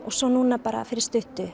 svo núna fyrir